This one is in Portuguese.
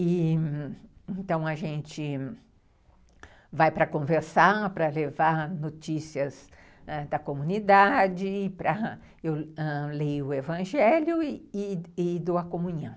Então a gente vai para conversar, para levar notícias ãh da comunidade, eu leio o evangelho e e e dou a comunhão.